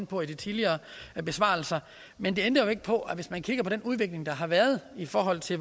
på i tidligere besvarelser men det ændrer jo ikke på at hvis man kigger på den udvikling der har været i forhold til